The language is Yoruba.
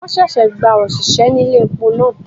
Won ṣẹ̀ṣẹ̀ gba òṣìṣẹ́ ní ilé epo náà.